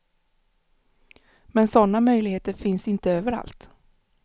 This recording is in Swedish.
Men sådana möjligheter finns inte överallt.